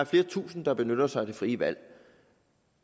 flere tusinde der benytter sig af det frie valg